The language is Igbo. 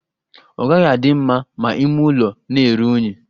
Ọ gaghị adị mma ma ịme ụlọ na-eru unyi.